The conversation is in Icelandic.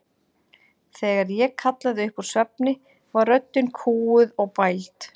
Þegar ég kallaði upp úr svefni var röddin kúguð og bæld.